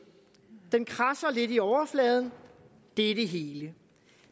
den kradser lidt i overfladen det er det hele